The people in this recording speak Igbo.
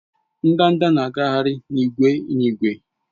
Ndanda na-agagharị n'ìgwè n'ìgwè